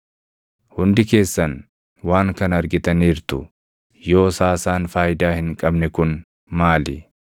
Hundi keessan waan kana argitaniirtu; yoos haasaan faayidaa hin qabne kun maali?